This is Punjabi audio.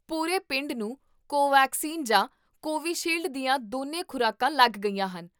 ਪੂਰੇ ਪਿੰਡ ਨੂੰ ਕੋਵੈਕਸੀਨ ਜਾਂ ਕੋਵਿਸ਼ੀਲਡ ਦੀਆਂ ਦੋਨੋ ਖ਼ੁਰਾਕਾਂ ਲੱਗ ਗਈਆਂ ਹਨ